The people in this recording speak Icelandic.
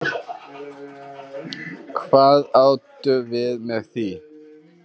Hvað áttu við með því?